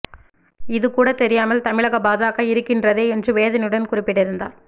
இது கூட தெரியாமல் தமிழக பாஜக இருக்கின்றதே என்று வேதனையுடன் குறிப்பிட்டிருந்தார்